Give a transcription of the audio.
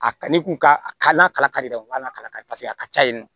A kanu ka a nakari dɛ u ka na ka kala kari paseke a ka ca yen nɔ